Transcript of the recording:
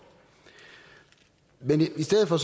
men i stedet for